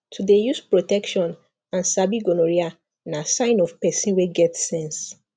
to dey use protection and sabi gonorrhea na sign of person wey get sense